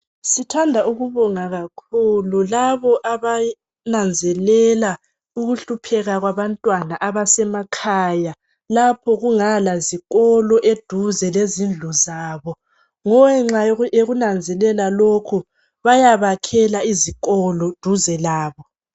Sithanda ukubonga kakhulu labo abananzelela ukuhlupheka kwabantwana abasemakhaya lapho okungala zikolo eduze lezindlu zabo. Ngenxa yokunanzelela lokhu bayabakhela izikolo duze labo.